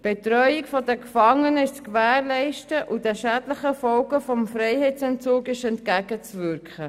Die Betreuung der Gefangenen ist zu gewährleisten und den schädlichen Folgen des Freiheitsentzugs entgegenzuwirken.